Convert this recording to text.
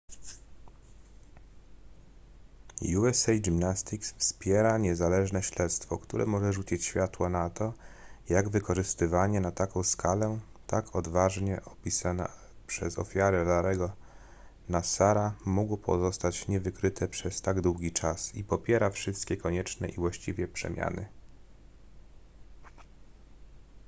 usa gymnastics wspiera niezależne śledztwo które może rzucić światło na to jak wykorzystywanie na taką skalę tak odważnie opisane przez ofiary larry'ego nassara mogło pozostać niewykryte przez tak długi czas i popiera wszystkie konieczne i właściwe przemiany